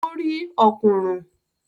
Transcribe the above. Ó rí “ọ̀kùnrùn”.